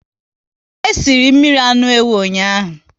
E sịrị mmiri anụ ewu ụnyaahụ